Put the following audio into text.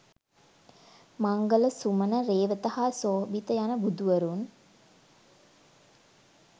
මංගල, සුමන, රේවත හා සෝභිත යන බුදුවරුන්